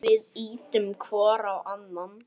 Við ýtum hvor á annan.